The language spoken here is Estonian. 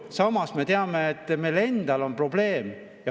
Samas me teame, et meil endal on probleem.